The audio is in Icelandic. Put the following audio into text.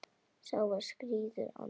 Sá var skírður Andrés.